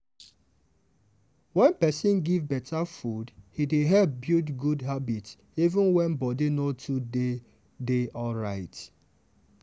wen person give better food e dey help build good habit even when body no too dey dey alright.